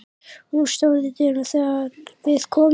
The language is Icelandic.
Hún stóð í dyrunum þegar við komum.